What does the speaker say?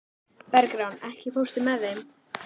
Bergrán, ekki fórstu með þeim?